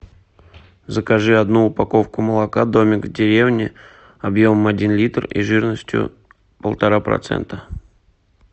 закажи одну упаковку молока домик в деревне объемом один литр и жирностью полтора процента